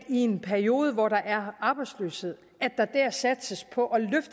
i en periode hvor der er arbejdsløshed satses på